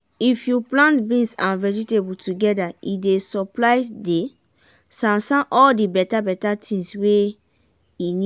f you plant beans and veegetable together e dey supply dey